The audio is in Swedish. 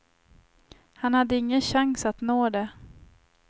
Han hade ingen chans att nå det.